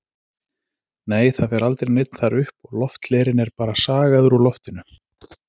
Nei, það fer aldrei neinn þar upp og lofthlerinn er bara sagaður úr loftinu.